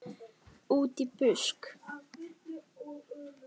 Útí busk.